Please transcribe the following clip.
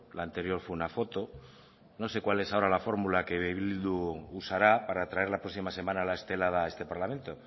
la anterior fue una foto no sé cuál es ahora la fórmula que bildu usará para traer la próxima semana la estelada a este parlamento